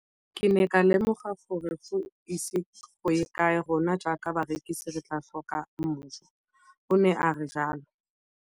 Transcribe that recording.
Ke ne ka lemoga gore go ise go ye kae rona jaaka barekise re tla tlhoka mojo, o ne a re jalo.